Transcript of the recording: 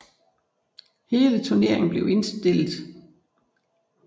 Hele turneringen blev spillet uden almindelige tilskuere